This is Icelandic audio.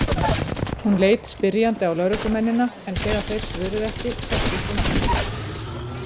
Hún leit spyrjandi á lögreglumennina en þegar þeir svöruðu ekki settist hún aftur.